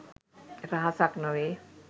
රහසක් නොවේ